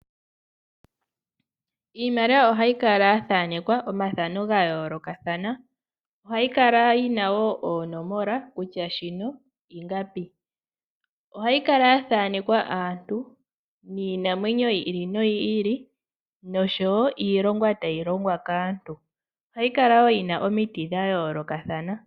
Iimaliwa ohayi kala yathanekwa omafano gayoolokathana . Ohayi kala wo yina oonomola kutya shino ingapi. Ohayi kala yathanekwa aantu niinamwenyo yiili noyili noshowoo iilonga tayi longwa kaantu . Ohayi kala wo yina omiti dhayoolokathana.